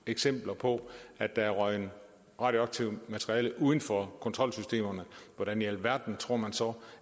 eksempler på at der er røget radioaktivt materiale uden for kontrolsystemerne hvordan i alverden tror man så